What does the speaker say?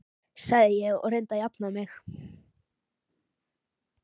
sagði ég og reyndi að jafna mig.